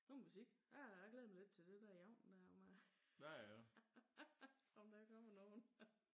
Nu må vi se. Jeg glæder mig lidt til det der i aften der ik? Om der kommer nogen